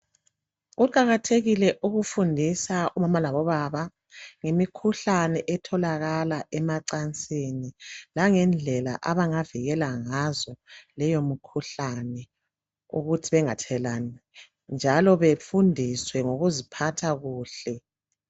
Kuqakathekile ukufundisa obaba ngemikhuhlane etholakala emancansini langendlela abangazivikela ngazo kuleyo mikhuhlane ukuze bengathelelani njalo befundiswe ngokuziphatha kuhle.